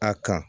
A kan